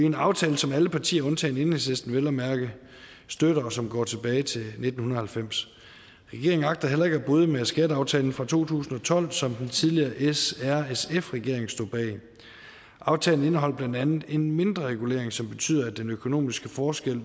en aftale som alle partier undtagen enhedslisten vel at mærke støtter og som går tilbage til nitten halvfems regeringen agter heller ikke at bryde med skatteaftalen fra to tusind og tolv som den tidligere srsf regering stod bag aftalen indeholder blandt andet en mindre regulering som betyder at den økonomiske forskel